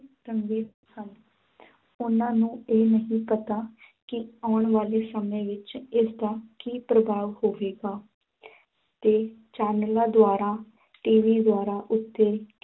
ਰੰਗੇ ਹਨ ਉਨ੍ਹਾਂ ਨੂੰ ਇਹ ਨਹੀਂ ਪਤਾ ਕਿ ਆਉਣ ਵਾਲੇ ਸਮੇਂ ਵਿੱਚ ਇਸ ਦਾ ਕੀ ਪ੍ਰਭਾਵ ਹੋਵੇਗਾ ਤੇ ਚੈਨਲਾਂ ਦੁਆਰਾ TV ਦੁਆਰਾ ਉੱਤੇ